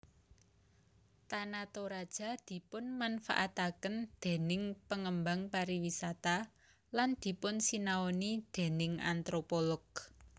Tana Toraja dipunmanfaataken déning pengembang pariwisata lan dipunsinaoni déning antropolog